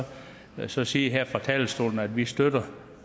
så sige her fra talerstolen at vi støtter